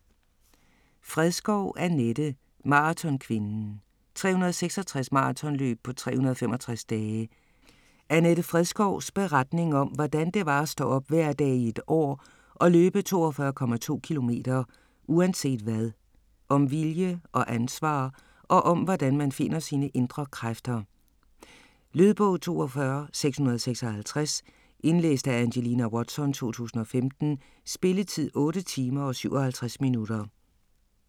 Fredskov, Annette: Maratonkvinden: 366 maratonløb på 365 dage Annette Fredskovs beretning om, hvordan det var at stå op hver dag i et år og løbe 42,2 kilometer uanset hvad. Om vilje og ansvar og om, hvordan man finder sine indre kræfter. Lydbog 42656 Indlæst af Angelina Watson, 2015. Spilletid: 8 timer, 57 minutter.